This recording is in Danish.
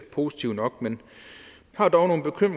positivt nok men